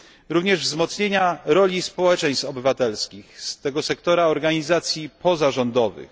Również wzmocnienia roli społeczeństw obywatelskich z tego sektora organizacji pozarządowych.